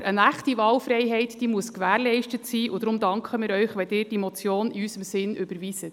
Aber eine echte Wahlfreiheit muss gewährleistet sein, und deshalb danken wir Ihnen, wenn Sie diese Motion in unserem Sinn überweisen.